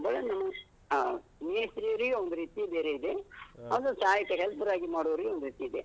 ಸಂಬಳನೂ ಆಹ್ ಮೇಸ್ತ್ರಿಯವ್ರಿಗೆ ಒಂದ್ರೀತಿ ಬೇರೆ ಇದೆ ಅವ್ರ ಸಹಾಯಕರ್, helper ಆಗಿ ಮಾಡುವವರಿಗೆ ಒಂದ್ರೀತಿ ಇದೆ.